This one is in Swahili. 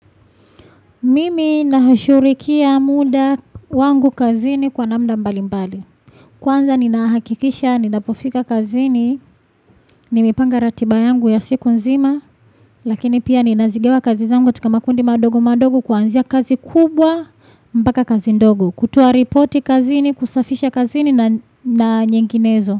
Mimi nahashurikia muda wangu kazini kwa namna mbali mbali. Kwanza nina hakikisha, ninapofika kazini, nimepanga ratiba yangu ya siku nzima, lakini pia ninazigawa kazi zangu katika makundi madogo madogo kuanzia kazi kubwa mpaka kazi ndogo. Kutoa ripoti kazini, kusafisha kazini na nyinginezo.